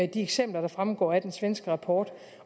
de eksempler der fremgår af den svenske rapport